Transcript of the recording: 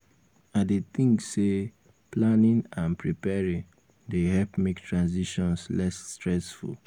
i dey think say planning and preparing dey help make transitions less stressful.